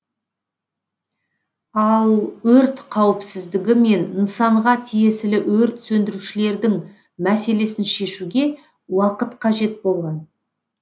ал өрт қауіпсіздігі мен нысанға тиесілі өрт сөндірушілердің мәселесін шешуге уақыт қажет болған